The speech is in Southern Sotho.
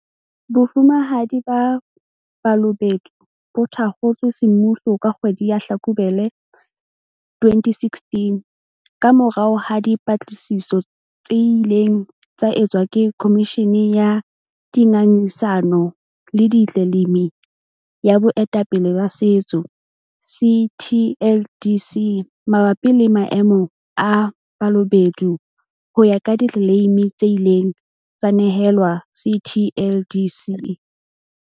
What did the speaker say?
Bofumahadi ba Balobedu bo thakgotswe semmuso ka kgwedi ya Hlakubele 2016 kamorao ha dipatlisiso tse ileng tsa etswa ke Khomishi ni ya Dingangisano le Ditleleimi ya Boetapele ba Setso, CTLDC, mabapi le maemo a Balobedu ho ya ka ditleleimi tse ileng tsa nehelwa CTLDC.